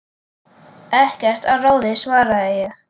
Ekkert að ráði svaraði ég.